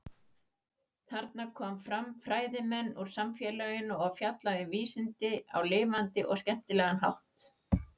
Þarna koma fram fræðimenn úr samfélaginu og fjalla um vísindin á lifandi og skemmtilega hátt.